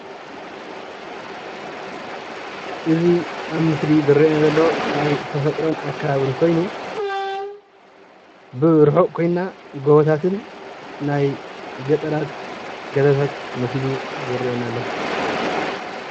እዚ ኣብ ምስሊ ዝርአ ዘሎ ናይ ተፈጥሮን ኣከባብን ኾይኑ ብርሑቅ ኾይና ጎቦታትን ናይ ገጠራት ገዛታት መሲሉ ይረአየና ኣሎ።